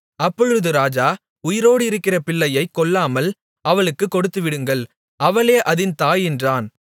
அப்பொழுது ராஜா உயிரோடு இருக்கிற பிள்ளையைக் கொல்லாமல் அவளுக்குக் கொடுத்துவிடுங்கள் அவளே அதின் தாய் என்றான்